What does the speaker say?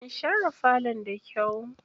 Kun share falon da kyau?